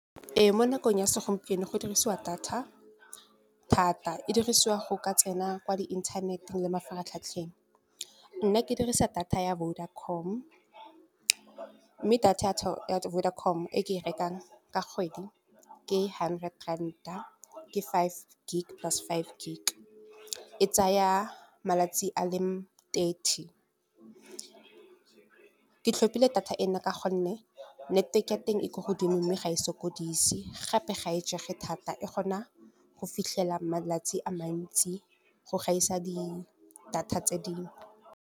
Ee, mo nakong ya segompieno go dirisiwa data thata, e dirisiwa go ka tsena kwa di inthaneteng le mafaratlhatlheng. Nna ke dirisa data ya Vodacom mme data ya Vodacom e ke e rekang ka kgwedi, ke hundred rand ke five gig plus five gig. E tsaya malatsi a le thirty, ke tlhopile data e no ka gonne network a teng e ko godimo mme ga e sokodise. Gape ga e jege thata, e kgona go fitlhela malatsi a mantsi, go gaisa di-data tse dingwe.